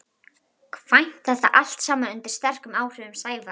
kvæmt þetta allt saman undir sterkum áhrifum Sævars.